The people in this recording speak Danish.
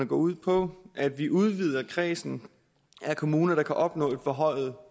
går ud på at vi udvider kredsen af kommuner der kan opnå et forhøjet